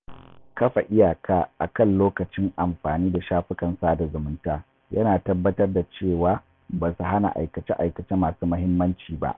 Kafa iyaka akan lokacin amfani da shafukan sada zumunta yana tabbatar da cewa ba su hana aikace-aikace masu muhimmanci ba.